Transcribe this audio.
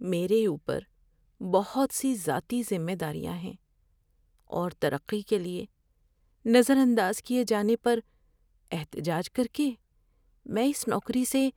میرے اوپر بہت سی ذاتی ذمہ داریاں ہیں اور ترقی کے لیے نظر انداز کیے جانے پر احتجاج کر کے میں اس نوکری سے